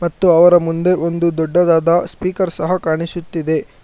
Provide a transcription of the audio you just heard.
ಮತ್ತು ಅವರ ಮುಂದೆ ಒಂದು ದೊಡ್ಡದಾದ ಸ್ಪೀಕರ್ ಸಹ ಕಾಣಿಸುತ್ತಿದೆ.